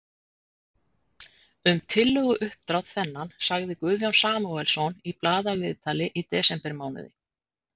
Um tillöguuppdrátt þennan sagði Guðjón Samúelsson í blaðaviðtali í desembermánuði